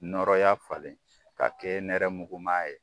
Nɔɔrɔya falen ka kɛ nɛrɛ mugu ma ye.